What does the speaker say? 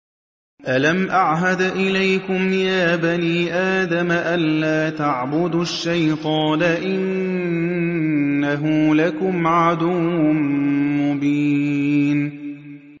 ۞ أَلَمْ أَعْهَدْ إِلَيْكُمْ يَا بَنِي آدَمَ أَن لَّا تَعْبُدُوا الشَّيْطَانَ ۖ إِنَّهُ لَكُمْ عَدُوٌّ مُّبِينٌ